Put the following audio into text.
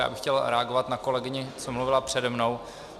Já bych chtěl reagovat na kolegyni, která mluvila přede mnou.